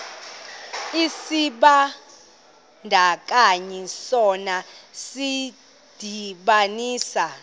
isibandakanyi sona sidibanisa